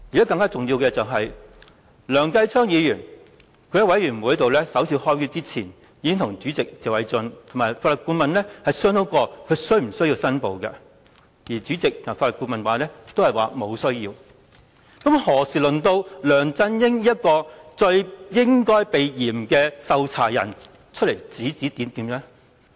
更重要的是，在專責委員會舉行首次會議前，梁繼昌議員已經與主席謝偉俊議員及法律顧問商討是否有需要申報，而主席及法律顧問均表示沒有需要，那試問何時輪到梁振英這個最應該避嫌的受查人出來指指點點？